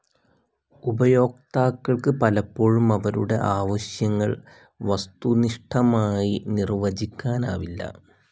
ഉപയോക്താക്കൾ ക്ക് പലപ്പോഴും അവരുടെ ആവശ്യങ്ങൾ വസ്തുനിഷ്ഠമായി നിർവചിക്കാനാവില്ല.